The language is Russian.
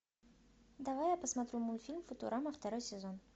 давай я посмотрю мультфильм футурама второй сезон